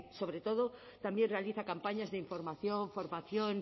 sobre todo también realiza campañas de información formación